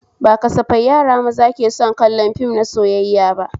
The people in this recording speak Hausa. Ba kasafai yara maza ke son kallon fim na soyayya ba